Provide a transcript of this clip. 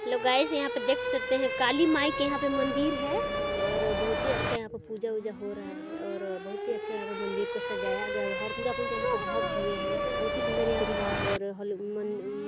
hello guys यहाँ पे देख सकते है काली माई की यहाँ पे मंदिर है और बहुत ही अच्छा यहाँ पे पूजा- वूजा हो रहा है और बहुत ही अच्छे यहाँ पे मंदिर को सजाया गया है और पूरा फूल ते ढक दिए है बहुत ही सुन्दर यहाँ पे दिख रहा है और हॉल -मन--